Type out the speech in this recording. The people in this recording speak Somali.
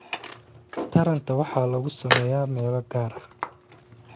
Taranta waxaa lagu sameeyaa meelo gaar ah